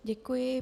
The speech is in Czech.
Děkuji.